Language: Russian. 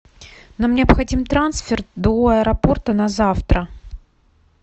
нам необходим трансфер до аэропорта на завтра